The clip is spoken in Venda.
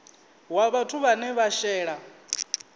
wa vhathu vhane vha shela